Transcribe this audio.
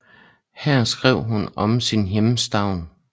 Her skrev hun om sin hjemstavn